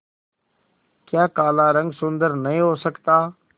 क्या काला रंग सुंदर नहीं हो सकता